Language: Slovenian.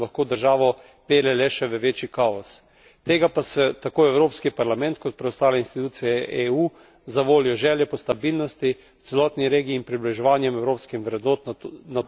Tega pa si tako Evropski parlament kot preostale institucije EU zavoljo želje po stabilnosti v celotni regiji in približevanjem evropskim vrednotam na to območje ne morejo in ne smejo dovoliti.